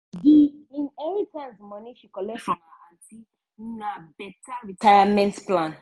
di inheritance money she collect from her aunty na better retirement plan.